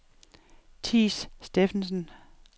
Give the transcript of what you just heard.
Theis Steffensen